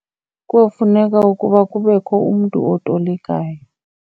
Kuyofuneka ukuba kubekho umntu otolikayo.